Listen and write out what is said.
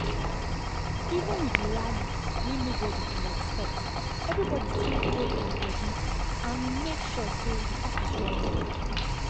even with the rally wey nobody um expect everybody still hold um body and make sure say the office run well.